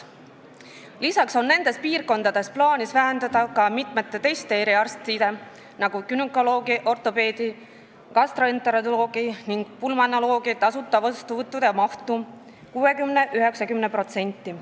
Lisaks on nendes piirkondades plaanis vähendada ka mitmete teiste eriarstide, nagu günekoloogi, ortopeedi, gastroenteroloogi ning pulmonoloogi tasuta vastuvõttude mahtu 60–90%.